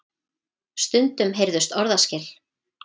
Stundum heyrðust orðaskil.